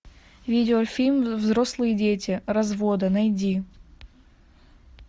видеофильм взрослые дети разводы найди